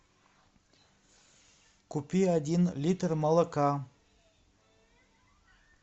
купи один литр молока